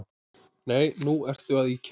Nei, nú ertu að ýkja